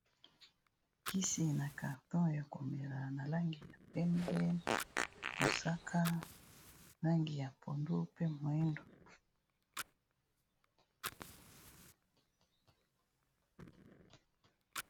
Kisi na carton ya komela na langi ya pembe, mosaka, langi ya pondu, pe moyindo.